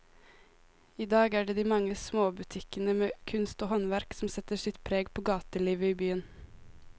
I dag er det de mange små butikkene med kunst og håndverk som setter sitt preg på gatelivet i byen.